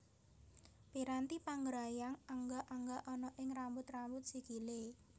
Piranti panggrayang angga angga ana ing rambut rambut sikilé